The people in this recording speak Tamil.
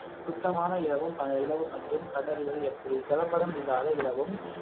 சுத்தமான இலவம் இலவம் பஞ்சம் கண்டறிவது எப்படி கலப்படம் இல்லாத இலவம்